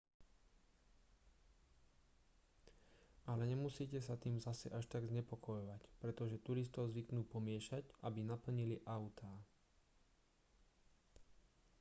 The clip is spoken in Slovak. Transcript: ale nemusíte sa tým zase až tak znepokojovať pretože turistov zvyknú pomiešať aby naplnili autá